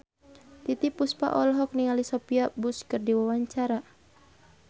Titiek Puspa olohok ningali Sophia Bush keur diwawancara